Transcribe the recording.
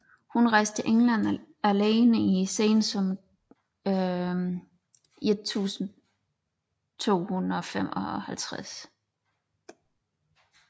Hun rejste til England alene i sensommeren 1255